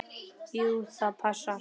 Jú, það passar.